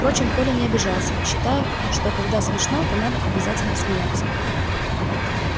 впрочем коля не обижался считая что когда смешно то надо обязательно смеяться